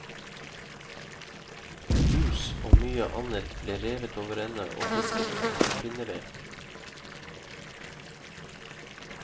Hus og mye annet ble revet over ende og pisket til pinneved.